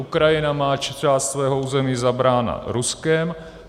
Ukrajina má část svého území zabránu Ruskem.